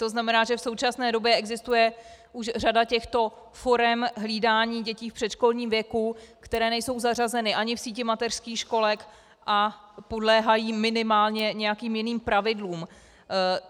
To znamená, že v současné době existuje už řada těchto forem hlídání dětí v předškolním věku, které nejsou zařazeny ani v síti mateřských školek a podléhají minimálně nějakým jiným pravidlům.